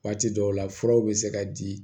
Waati dɔw la furaw bɛ se ka di